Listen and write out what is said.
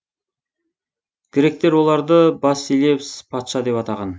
гректер оларды басилевс патша деп атаған